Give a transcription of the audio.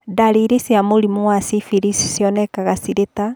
Ndariri cia mũrimũ wa syphilis cionekaga cirĩ ta